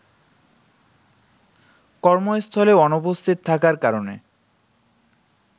কর্মস্থলে অনুপস্থিত থাকার কারণে